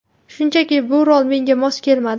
Shunchaki bu rol menga mos kelmadi.